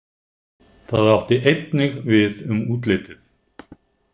Það átti einnig við um útlitið.